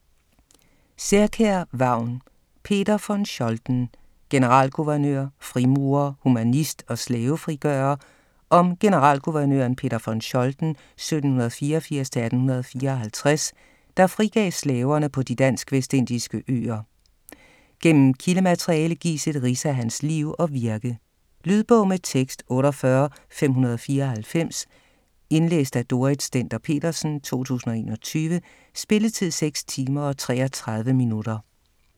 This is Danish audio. Særkjær, Vagn: Peter von Scholten: generalguvernør, frimurer, humanist og slavefrigører Om generalguvernøren Peter von Scholten (1784-1854), der frigav slaverne på de dansk-vestindiske øer. Gennem kildemateriale gives et rids af hans liv og virke. Lydbog med tekst 48594 Indlæst af Dorrit Stender-Petersen, 2021. Spilletid: 6 timer, 33 minutter.